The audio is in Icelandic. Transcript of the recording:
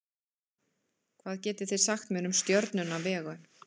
hvað getið þið sagt mér um stjörnuna vegu